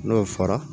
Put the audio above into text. N'o fɔra